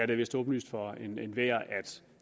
det vist åbenlyst for enhver at